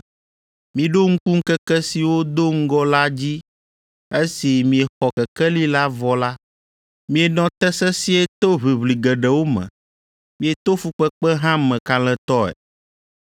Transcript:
Miɖo ŋku ŋkeke siwo do ŋgɔ la dzi esi miexɔ kekeli la vɔ la, mienɔ te sesĩe to ʋiʋli geɖewo me, mieto fukpekpe hã me kalẽtɔe.